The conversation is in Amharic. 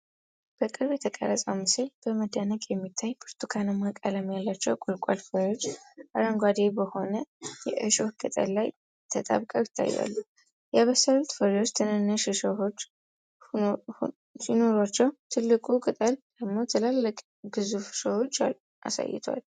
በቅርብ የተቀረጸው ምስል በመደነቅ የሚታይ፤ ብርቱካናማ ቀለም ያላቸው ቁልቋል ፍሬዎች አረንጓዴ በሆነው የእሾህ ቅጠል ላይ ተጣብቀው ይታያሉ። የበሰሉት ፍሬዎች ትንንሽ እሾሆች ሲኖሯቸው፤ ትልቁ ቅጠል ደግሞ ትላልቅና ግዙፍ እሾሆችን አሳይቷል።